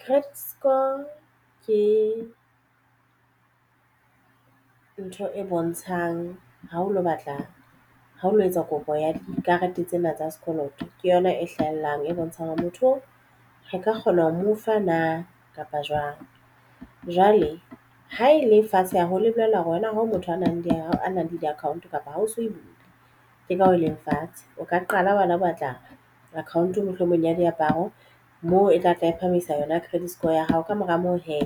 Credit score ke ntho e bontshang ha o lo batla hoa o lo etsa kopo ya dikarete tsena tsa sekoloto ke yona e hlahellang e bontshang hore motho re ka kgona ho mo fa na kapa jwang. Jwale ha e le fatshe haholo e bolella hore wena ha motho a nang le ao a nang le di-account kapa ha o so ke ka hoo e leng fatshe o ka qala hela wena o batla account mohlomong ya diaparo moo e tla tla e phahamisa yona credit score ya hao. Ka mora moo hee